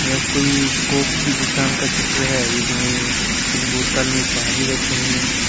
यह कोई कोक की दुकान का चित्र है जिसमें कुछ बोतल में पानी रखे हैं।